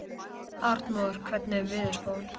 Arnmóður, hvernig er veðurspáin?